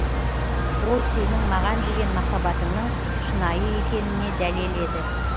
ол сенің маған деген махаббатыңның шынайы екеніне дәлел еді